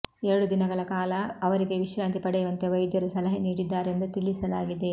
ಎರಡು ದಿನಗಳ ಕಾಲ ಅವರಿಗೆ ವಿಶ್ರಾಂತಿ ಪಡೆಯುವಂತೆ ವೈದ್ಯರು ಸಲಹೆ ನೀಡಿದ್ದಾರೆಂದು ತಿಳಿಸಲಾಗಿದೆ